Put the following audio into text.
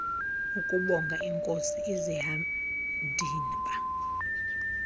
ukubonga iinkosi izihandiba